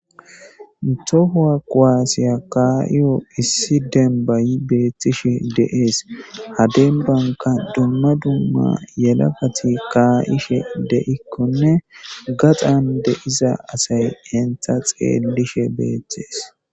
tohuwa qwaassiya kaayiyo issi dembayi beethtishe deees hadenbanka dumma dumma yelafati kaa7ishe deikkonne gaxan deiza asay entha xeellishe beeththees